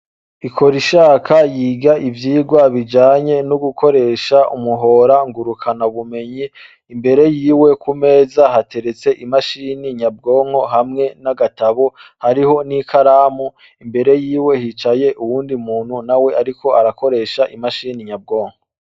Ikorishaka yiga ivyigwa bijanye no gukoresha umuhora ngurukanabumenyi ,imbere yiwe ku meza hateretse imashini nyabwonko hamwe n'agatabo ,hariho n'ikaramu imbere yiwe hicaye uyundi muntu nawe ariko arakoresha I mashini nyabwonko.